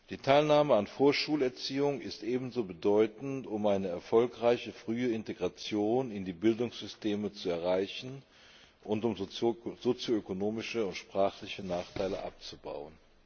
Die Teilnahme an Vorschulerziehung ist ebenso bedeutend, um eine erfolgreiche, frühe Integration in die Bildungssysteme zu erreichen und um sozio ökonomische und sprachliche Nachteile abzubauen.